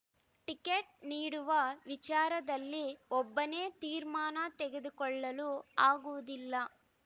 ticket ನೀಡುವ ವಿಚಾರದಲ್ಲಿ ಒಬ್ಬನೇ ತೀರ್ಮಾನ ತೆಗೆದುಕೊಳ್ಳಲು ಆಗುವುದಿಲ್ಲ